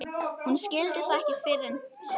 Hún skildi það ekki fyrr en síðar.